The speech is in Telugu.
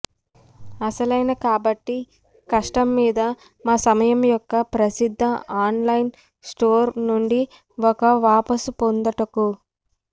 అసలైన కాబట్టి కష్టం మీద మా సమయం యొక్క ప్రసిద్ధ ఆన్లైన్ స్టోర్ నుండి ఒక వాపసు పొందుటకు